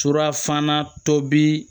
Surafana tobi